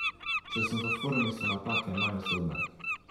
Če sem v formi, so napake manj usodne.